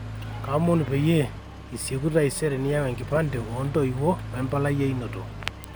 kaomonu peyie isieku taisere niyau enkipande oo ntoiwuo we mbalai e inoto